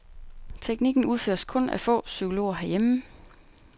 Teknikken udføres kun af få psykologer herhjemme.